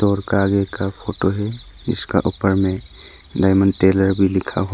और कागे का फोटो है। इसका ऊपर में डायमंड टेलर भी लिखा हुआ है।